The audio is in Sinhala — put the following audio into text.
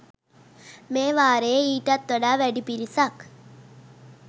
මේ වාරයේ ඊටත් වඩා වැඩි පිරිසක්